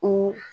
Ko